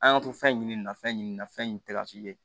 An y'an to fɛn ɲini nin na fɛn ɲini nin na fɛn in tɛ ka si ye